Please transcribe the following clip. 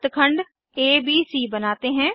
वृत्तखंड एबीसी बनाते हैं